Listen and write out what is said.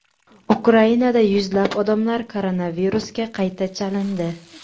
Ukrainada yuzlab odamlar koronavirusga qayta chalindi.